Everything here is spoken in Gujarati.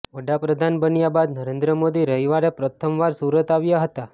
વડા પ્રધાન બન્યા બાદ નરેન્દ્ર મોદી રવિવારે પ્રથમ વાર સુરત આવ્યા હતા